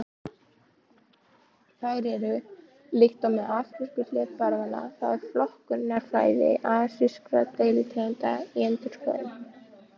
Þær eru: Líkt og með afrísku hlébarðanna þá er flokkunarfræði asískra deilitegunda í endurskoðun.